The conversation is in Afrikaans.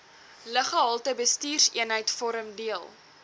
luggehaltebestuurseenheid vorm deel